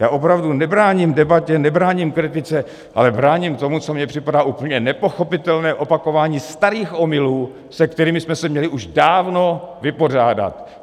Já opravdu nebráním debatě, nebráním kritice, ale bráním tomu, co mi připadá úplně nepochopitelné opakování starých omylů, se kterými jsme se měli už dávno vypořádat.